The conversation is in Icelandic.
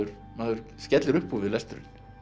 maður skellir upp úr við lesturinn